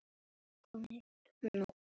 Ekki er ljóst hvað veldur.